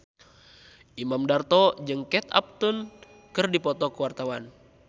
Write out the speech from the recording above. Imam Darto jeung Kate Upton keur dipoto ku wartawan